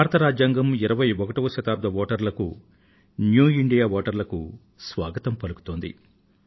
భారత రాజ్యాంగం 21వ శతాబ్దపు వోటరులకు న్యూ ఇండియా వోటర్లకు స్వాగతం పలుకుతోంది